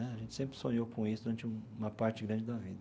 Né a gente sempre sonhou com isso durante uma parte grande da vida.